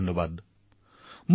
কিবা এটা কাম কৰাৰ বাবে আদেশ দিছে